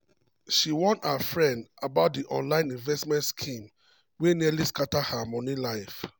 she warn her friends about di online investment scheme wey nearly scatter her money life.